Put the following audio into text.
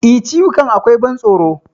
E, ciwukan akwai ban tsoro.